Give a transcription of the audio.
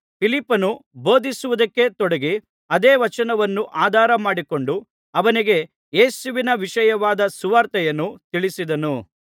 ಫಿಲಿಪ್ಪನು ಬೋಧಿಸುವುದಕ್ಕೆ ತೊಡಗಿ ಅದೇ ವಚನವನ್ನು ಆಧಾರಮಾಡಿಕೊಂಡು ಅವನಿಗೆ ಯೇಸುವಿನ ವಿಷಯವಾದ ಸುವಾರ್ತೆಯನ್ನು ತಿಳಿಸಿದನು